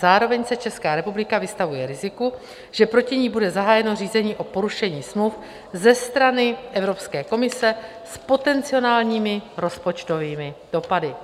Zároveň se Česká republika vystavuje riziku, že proti ní bude zahájeno řízení o porušení smluv ze strany Evropské komise s potenciálními rozpočtovými dopady.